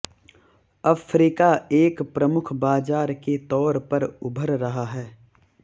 Africa एक प्रमुख बाजार के तौर पर उभर रहा है